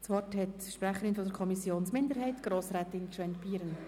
Das Wort hat die Sprecherin der Kommissionsminderheit, Grossrätin Gschwend-Pieren.